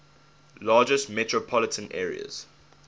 largest metropolitan areas